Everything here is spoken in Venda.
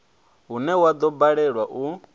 une wa do balelwa u